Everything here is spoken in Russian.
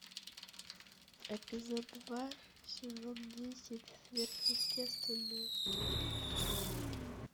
эпизод два сезон десять сверхъестественное